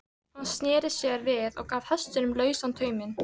Hann sneri sér við og gaf hestinum lausan tauminn.